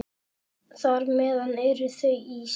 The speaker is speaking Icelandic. Þar með eru þau ís